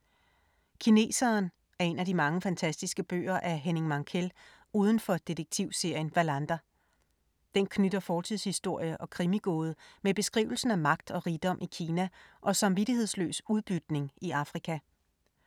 Kineseren er en af de mange fantastiske bøger af Henning Mankell uden for detektivserien Wallander. Den knytter fortidshistorie og krimigåde med beskrivelsen af magt og rigdom i Kina og samvittighedsløs udbytning i Afrika.